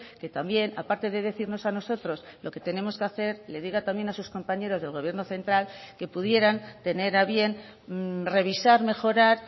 que también aparte de decirnos a nosotros lo que tenemos que hacer le diga también a sus compañeros del gobierno central que pudieran tener a bien revisar mejorar